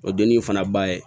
O dennin fana ba ye